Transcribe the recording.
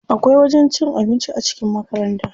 Akwai wajen cin abinci a cikin makaranta.